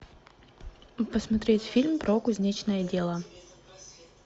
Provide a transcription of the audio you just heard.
посмотреть фильм про кузнечное дело